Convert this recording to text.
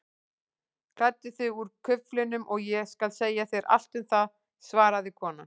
Klæddu þig úr kuflinum og ég skal segja þér allt um það svaraði konan.